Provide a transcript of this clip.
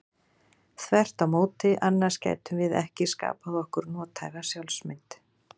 Þvert á móti, annars gætum við ekki skapað okkur nothæfa sjálfsmynd.